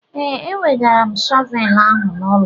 Ee, ewegara m shọvelụ ahụ n'ụlọ.